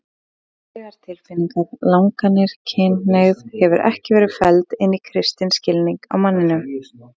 Mannlegar tilfinningar, langanir, kynhneigð hefur ekki verið felld inn í kristinn skilning á manninum.